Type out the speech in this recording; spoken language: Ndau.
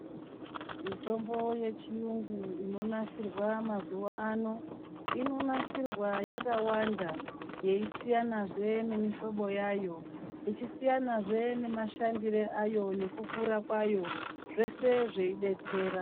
Mitombo yechiyungu inonasirwa mazuwano inonasirwa yakawanda yeisiyanazve ngemihlobo yayo ichisiyanazve ngemashandisirwe ayo nekukura kwayo zveshe zveidetsera.